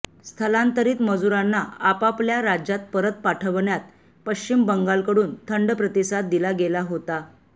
स्थलांतरित मजुरांना आपापल्या राज्यात परत पाठवण्यात पश्चिम बंगालकडून थंड प्रतिसाद दिला गेला होता